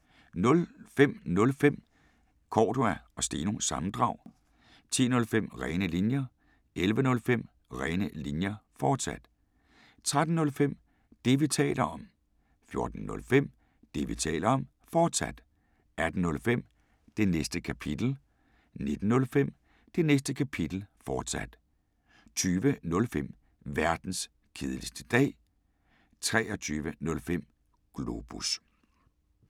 05:05: Cordua & Steno – sammendrag 10:05: Rene linjer 11:05: Rene linjer, fortsat 13:05: Det, vi taler om 14:05: Det, vi taler om, fortsat 18:05: Det Næste Kapitel 19:05: Det Næste Kapitel, fortsat 20:05: Verdens Kedeligste Dag 23:05: Globus